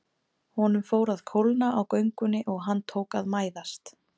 Honum fór að kólna á göngunni og hann tók að mæðast.